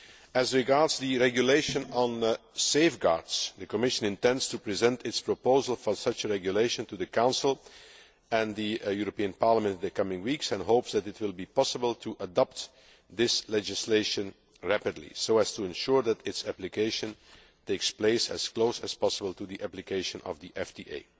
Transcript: As regards the regulation on safeguards, the Commission intends to present its proposal for such a regulation to the Council and the European Parliament in the coming weeks, and hopes that it will be possible to adopt this legislation rapidly so as to ensure that its application takes place as close as possible to the application of the FTA.